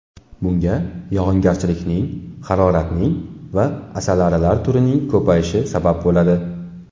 Bunga yog‘ingarchilikning, haroratning va asalarilar turining ko‘payishi sabab bo‘ladi.